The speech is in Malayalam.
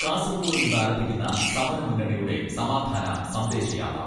കാസർകോട് നിന്ന് ആരംഭിക്കുന്ന സമര മുന്നണിയുടെ സമാധാന സന്ദേശ യാത്ര